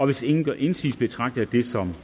hvis ingen gør indsigelse betragter jeg dette som